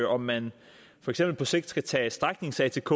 om man for eksempel på sigt skal tage stræknings atk